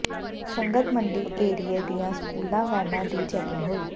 ਸੰਗਤ ਮੰਡੀ ਏਰੀਏ ਦੀਆਂ ਸਕੂਲ ਵੈਨਾਂ ਦੀ ਚੈਕਿੰਗ ਹੋਈ